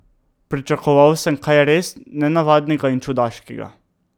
Pričakoval sem kaj res nenavadnega in čudaškega.